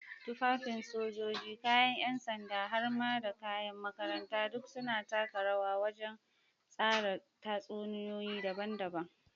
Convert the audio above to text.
Tufafin sojoji, kayan ’yan sanda, har ma da kayan makaranta duk sun taka rawa wajen tsara tatsuniyoyi daban-daban.